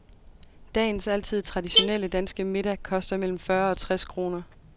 Dagens altid traditionelle, danske middag koster mellem fyrre og tres kroner.